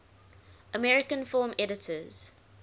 american film editors